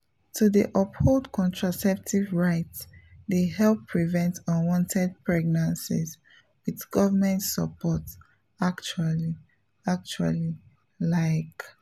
to dey uphold contraceptive rights dey help prevent unwanted pregnancies with government support actually actually like.